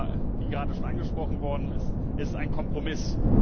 Aber wie gerade schon angesprochen worden ist Es ist ein Kompromiss.